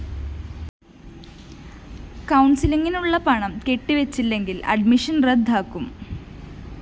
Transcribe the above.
കൗണ്‍സിലിങ്ങിനു വേണ്ടിയുള്ള പണം കെട്ടിവച്ചില്ലെങ്കില്‍ അഡ്മിഷൻ റദ്ദാകും